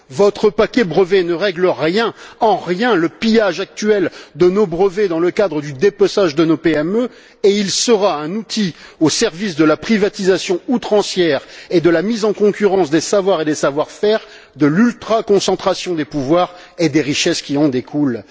Votre paquet brevet ne règle en rien le pillage actuel de nos brevets dans le cadre du dépeçage de nos PME et il sera un outil au service de la privatisation outrancière et de la mise en concurrence des savoirs et des savoir faire, et de l'ultraconcentration des pouvoirs et des richesses qui en découlent.